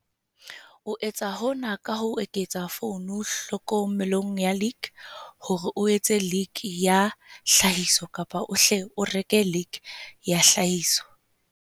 O etsa hona ka ho eketsa poone hlokomelong ya lick hore o etse lick ya tlhahiso kapa o hle o reke lick ya tlhahiso.